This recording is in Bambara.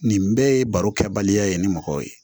Nin bɛɛ ye baro kɛ baliya ye ni mɔgɔw ye